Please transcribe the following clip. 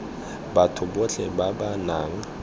batho botlhe ba ba nang